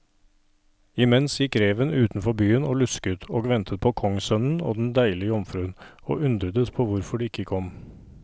Imens gikk reven utenfor byen og lusket og ventet på kongssønnen og den deilige jomfruen, og undredes på hvorfor de ikke kom.